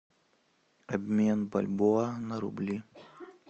обмен бальбоа на рубли